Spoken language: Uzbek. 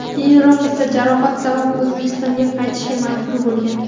Keyinroq esa jarohati sabab O‘zbekistonga qaytishga majbur bo‘lgan.